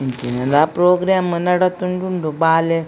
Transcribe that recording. ಎಂಚಿನಲ programme ನಡತೊಂದು ಉಂಡು ಬಾಲೆ.